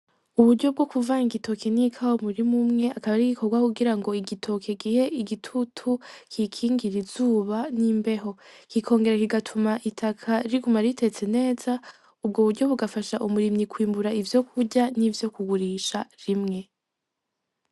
Uburyo bwo kuvanga igitoki n'ikawa mumurima umwe akaba ar'igikogwa kugirango igitoki gihe igitutu kiyikingira izuba n'imbeho, kikongera kigatuma itaka riguma riteze neza. Ubwo burya bugafasha umurimyi kwimbura ivyo kurya nivyo kugurisha ica rimwe.